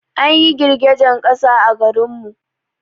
An yi girgejen ƙasa a garin mu